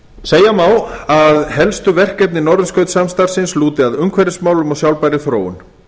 segja má að helstu verkefni norðurskautssamstarfsins lúti að umhverfismálum og sjálfbærri þróun